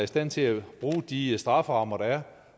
stand til at bruge de strafferammer der er